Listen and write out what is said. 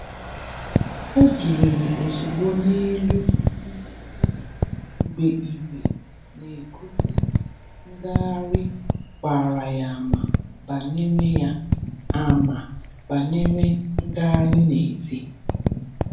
Ọ bìlìrì ozùgbò n’élù ihe ndina mgbe ìgwè n’egosi ngagharị gbara ya ama banyere ya ama banyere ngagharị n’èzí.